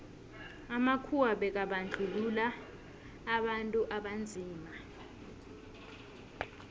amakhuwa bekabandluua abantu abanzima